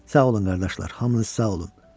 Sağ olun qardaşlar, hamınız sağ olun.